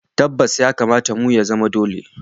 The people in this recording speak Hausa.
Tabbas! ya kamata mu, ya zama dole